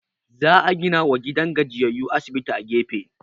Za a ginawa gidan gajiyayyu asibiti a gefe